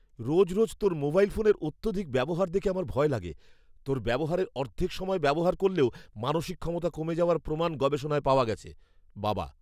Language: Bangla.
রোজ রোজ তোর মোবাইল ফোনের অত্যধিক ব্যবহার দেখে আমার ভয় লাগে। তোর ব্যবহারের অর্ধেক সময় ব্যবহার করলেও মানসিক ক্ষমতা কমে যাওয়ার প্রমাণ গবেষণায় পাওয়া গেছে। বাবা